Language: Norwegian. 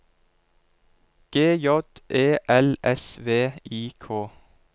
G J E L S V I K